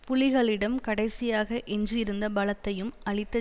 புலிகளிடம் கடைசியாக எஞ்சியிருந்த பலத்தையும் அழித்த